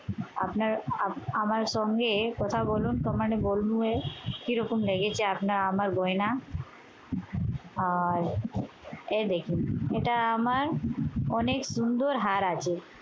আপনারা আপ আমার সঙ্গে কথা বলুন কিরকম লেগেছে আপনার আমার গয়না। আর এই দেখুন, এটা আমার অনেক সুন্দর হার আছে।